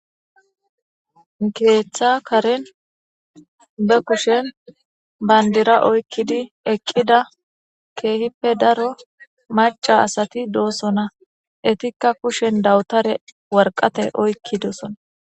Keeththa karen be kushen banddira oykkidi eqqida keehippe daro macca asati doosona. Etikka kushen dawutare warqqate oykkidoosona